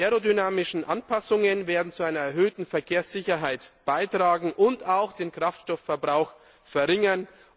Die aerodynamischen Anpassungen werden zur erhöhten Verkehrssicherheit beitragen und auch den Kraftstoffverbrauch verringern.